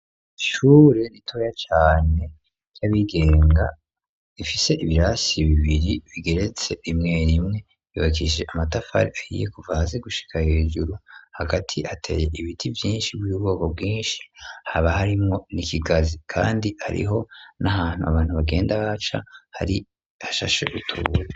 Ishure nitoya cane ry'abigenga ifise ibirasi bibiri bigeretse imwe imwe ibakishije amatafari ahiye kuva haze gushika hejuru hagati ateye ibiti vyinshi bw'ibrgoko bwinshi haba harimwo n'ikigazi kandi ariho n'ahantu abantu bagenda baca hari hashashe gutura.